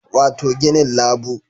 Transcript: Wato ginin labu